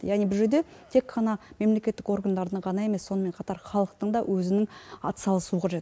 яғни бұл жерде тек қана мемлекеттік органдардың ғана емес сонымен қатар халықтың да өзінің атсалысуы қажет